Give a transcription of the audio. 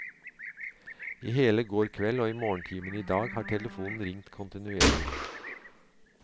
I hele går kveld og i morgentimene i dag har telefonen ringt kontinuerlig.